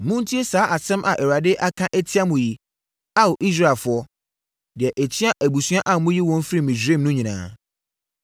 Montie saa asɛm a Awurade aka atia mo yi, Ao, Israelfoɔ, deɛ ɛtia abusua a meyii wɔn firii Misraim no nyinaa: